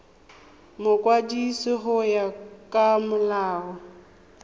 mokwadisi go ya ka molao